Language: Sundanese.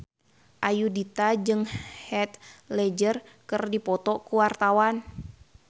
Ayudhita jeung Heath Ledger keur dipoto ku wartawan